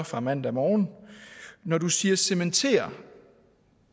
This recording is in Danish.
fra mandag morgen når du siger cementerer